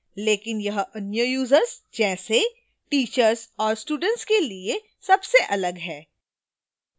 लेकिन यह अन्य यूजर्स जैसे teachers और students के लिए सबसे अलग है